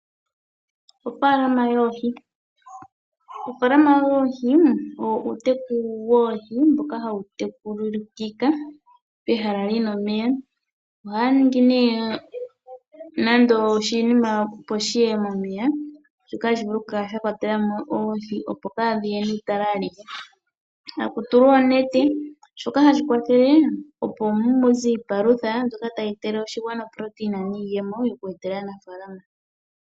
Ofaalama yoohi, ofaalama yoohi uuteku woohi mboka hawu tekulikika pehala lino omeya. Ohaya ningi nduno nando oshinima opo shiye momeya, shoka tashi vulu okukala sha kwatela mo oohi opo kadhiye netale alihe. Taku tulwa oonete ndhoka, hadhi kwathele opo muze iipalutha mbyoka tayi kwathele oshigwana oprotein niiyemo yoku etela aanafalama.